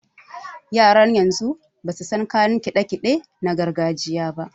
Yaran yanzu basu san kayan kiɗe-kiɗe na gargajiya ba.